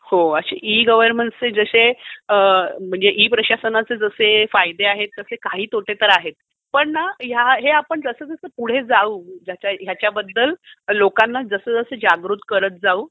हो. E governance म्हणजे e प्रशासनाचे जसे फायदे आहेत तसे काही तोटे ही आहेत. पण न हे आपण जसजसं पुढे जाऊ ह्याच्याबद्दल लोकांना जसजसं जागृत करत जाऊ,